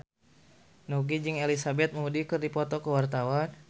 Nugie jeung Elizabeth Moody keur dipoto ku wartawan